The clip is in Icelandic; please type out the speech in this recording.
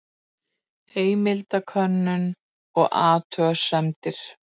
Heimildakönnun og athugasemdir.